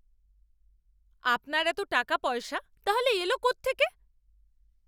আপনার এত টাকাপয়সা তাহলে এলো কোত্থেকে?